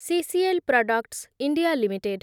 CCL products India limited